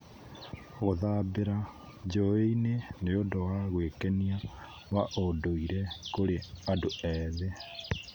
Gũthambĩra njũũĩ-inĩ nĩ ũndũ wa gwĩkenia wa ũndũire kũrĩ andũ ethĩ.